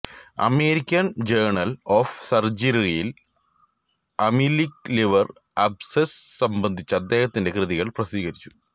American journal of സർജറിയിൽ amoebic liver abscess സംബന്ധിച്ച അദ്ദേഹത്തിന്റെ കൃതികൾ പ്രസിദ്ധീകരിച്ചു